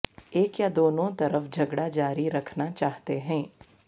ایک یا دونوں طرف جھگڑا جاری رکھنا چاہتے ہیں